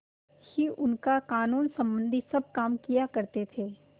ही उनका कानूनसम्बन्धी सब काम किया करते थे